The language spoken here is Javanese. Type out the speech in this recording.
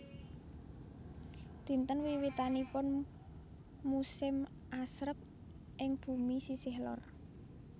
Dinten wiwitanipun musim asrep ing bumi sisih lor